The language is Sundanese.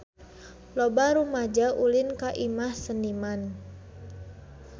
Loba rumaja ulin ka Imah Seniman